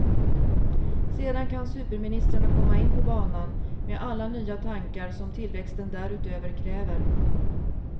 Sedan kan superministrarna komma in på banan med alla nya tankar som tillväxten därutöver kräver.